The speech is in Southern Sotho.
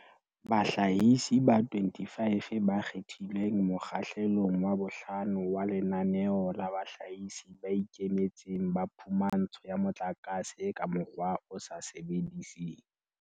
Bahlahisi ba 25 ba kgethilweng mokgahle long wa bohlano wa Lenaneo la Bahlahisi ba Ikemetseng ba Phumantsho ya Motlakase ka Mokgwa o sa Sebediseng